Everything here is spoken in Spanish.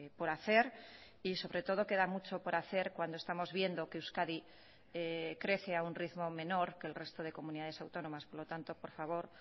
por hacer y sobre todo queda mucho por hacer cuando estamos viendo que euskadi crece a un ritmo menor que el resto de comunidades autónomas por lo tanto por favor